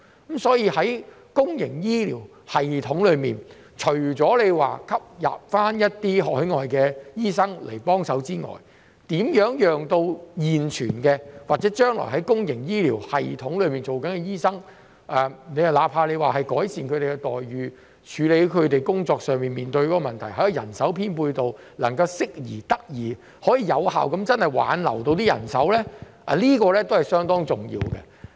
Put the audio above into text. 因此，在公營醫療系統方面，除了吸納海外醫生幫忙外，如何留住現存或將來會在公營醫療系統工作的醫生，包括改善他們的待遇、處理他們工作上面對的問題，以及人手編配得宜，以致能夠真正有效地挽留人手，亦是相當重要的。